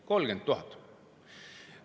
30 000!